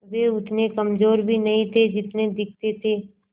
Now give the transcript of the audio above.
वे उतने कमज़ोर भी नहीं थे जितने दिखते थे